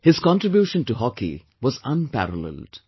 His contribution to hockey was unparalleled